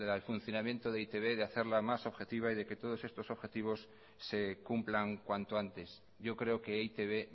el funcionamiento de e i te be de hacerla más objetiva y que todos estos objetivos se cumplan cuanto antes yo creo que e i te be